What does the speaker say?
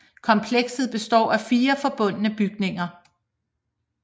Komplekset består af fire forbundne bygninger